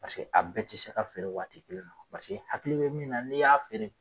Paseke a bɛɛ tɛ se ka feere waati kelen na paseke hakili bɛ min na n'i y'a feere